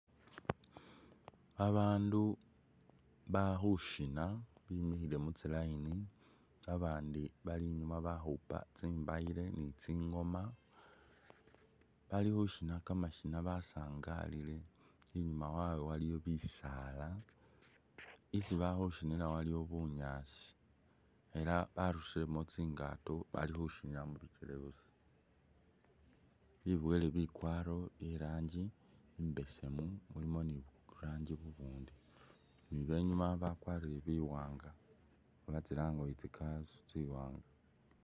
Babandu bali khushina bimikhile mutsi'layini babandi Bali i'nyuma bali khukhupa tsi'ngooma ni tsibayiilo bali khushina kamashino basaangalile, i'nyuma wawe waliwo bisaala, isi bali khushinila waliwo bunyaasi ela barusilemo tsi'ngaato bali khushinila mubikele busa, biboyele bikwaro byee rangi e'besemu mulimo ni burangi bubundi ni benyuma bakwarire biwaanga oba tsi'lange ori tsi'kanzu tsi'waanga